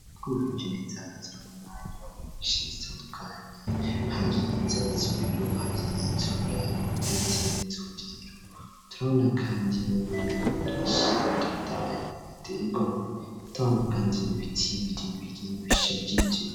Ko iwijeni zazaragamana bagekishi zitandukani hari zo abasumiro hari izuraro, ndetse n'izoubwiro traula, kandi n'imirima minshitotayi itegamwe tahano, kandi nibitsibiri biri bishajije.